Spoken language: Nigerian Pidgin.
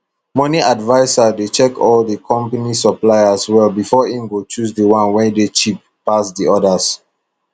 moni adviser dey check all the company suppliers well befor im go choose di one wey cheap pass di odas